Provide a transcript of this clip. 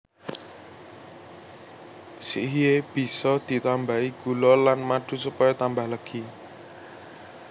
Sikhye bisa ditambahi gula lan madu supaya tambah legi